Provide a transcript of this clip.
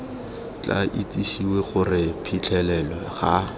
tla itsisiwe gore phitlhelelo ga